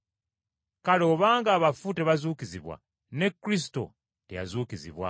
Kale obanga abafu tebazuukizibwa, ne Kristo teyazuukizibwa.